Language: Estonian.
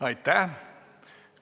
Aitäh!